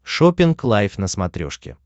шоппинг лайф на смотрешке